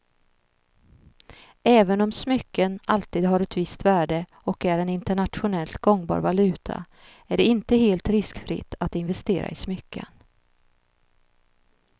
Även om smycken alltid har ett visst värde och är en internationellt gångbar valuta är det inte helt riskfritt att investera i smycken.